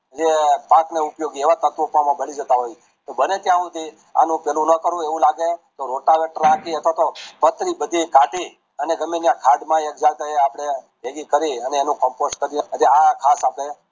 જે પાકના ઉપયોગી છે એવા તત્વ એમાં બળી જતા હોય છે તો બને ત્યાં હુધી આનું પેલું ના કરવું એવું લાગે તો હાંકી અથવા તોહ પાથરી બધી કાળી એને જમીન ના ખાડ ના એ જાગે બેગહીં કરી એને એનું compose કરી આ ખાસ આપડે